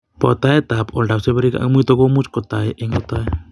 Botoetab oldab seberek ak muito ko much kotoi eng' kotoi.